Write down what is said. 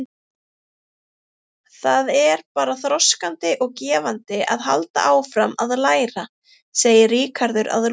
Það er bara þroskandi og gefandi að halda áfram að læra, sagði Ríkharður að lokum.